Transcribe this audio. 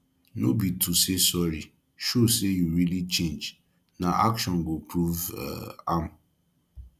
no be to say sorry show say you really change na action go prove um am